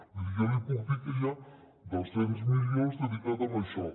vull dir jo li puc dir que hi ha dos cents milions dedicats a això